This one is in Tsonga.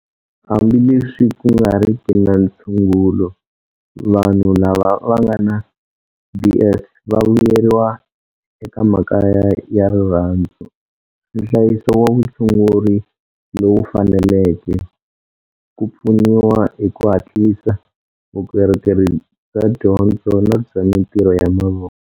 Hambileswi ku nga riki na ntshungulo, vanhu lava va nga na DS va vuyeriwa eka makaya ya rirhandzu, nhlayiso wa vutshunguri lowu faneleke, ku pfuniwa hi ku hatlisa, vukorhokeri bya dyondzo na bya mitirho ya mavoko.